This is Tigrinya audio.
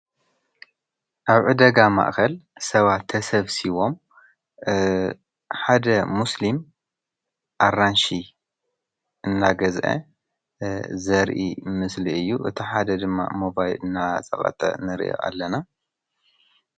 ኣብ ዕ ደጋ ማእኸል ሰባ ተሰፍሲይዎም ሓደ ሙስሊም ኣራንሽ እናገዘአ ዘርኢ ምስሊ እዩ እቲ ሓደ ድማ ሞባይል እና ሰባተ ነር ኣለና::